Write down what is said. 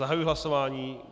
Zahajuji hlasování.